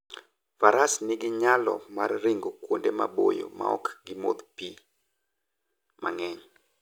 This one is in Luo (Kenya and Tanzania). Faras nigi nyalo mar ringo kuonde maboyo maok gimodh pi mang'eny.